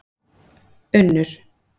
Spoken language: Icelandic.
Unnur